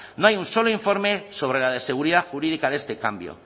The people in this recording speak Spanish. no hay un solo informe sobre la seguridad jurídica de este cambio